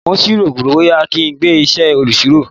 Mo sì ń rò ó bóyá kí n gba isẹ olusiro.